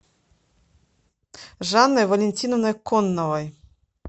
жанной валентиновной конновой